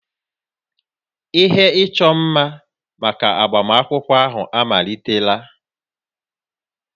Ihe ịchọ mma maka agbamakwụkwọ ahụ amalitela